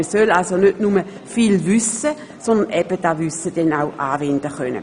Man soll also nicht nur viel wissen, sondern dieses Wissen eben auch anwenden können.